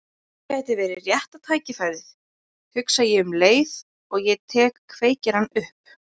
Nú gæti verið rétta tækifærið, hugsa ég um leið og ég tek kveikjarann upp.